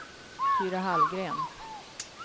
Tyra Hallgren